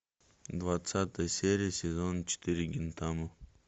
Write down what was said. двадцатая серия сезон четыре гинтама